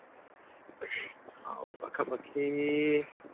ଆଉ ପାଖାପାଖି